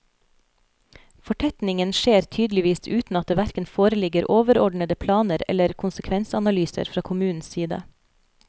Fortetningen skjer tydeligvis uten at det hverken foreligger overordnede planer eller konsekvensanalyser fra kommunens side.